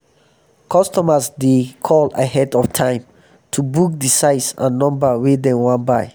customers dey call ahead of time to book di size and number wey dem wan buy.